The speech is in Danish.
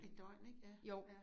Et døgn ik ja ja